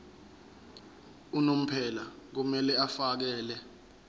unomphela kumele afakele